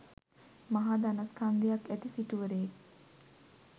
මහා ධනස්කන්ධයක් ඇති සිටුවරයෙක්